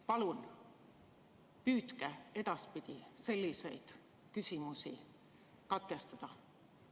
Palun püüdke edaspidi selliseid küsimusi katkestada.